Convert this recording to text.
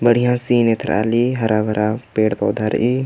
बढिया सीन एथरा अली हरा-भरा पेड़-पौधा रइई--